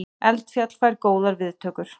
Eldfjall fær góðar viðtökur